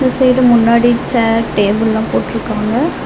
இந்த சைடு முன்னாடி சேர் டேபிள்லா போட்ருக்காங்க.